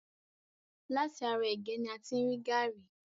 Láti ara ègé ni a ti rí gàrí.